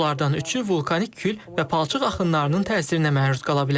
Onlardan üçü vulkanik kül və palçıq axınlarının təsirinə məruz qala bilər.